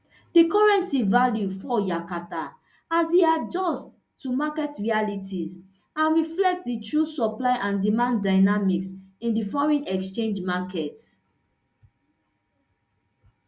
di currency value fall yakata as e adjust to market realities and reflect di true supply and demand dynamics in di foreign exchange market